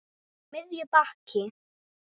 Á miðju baki.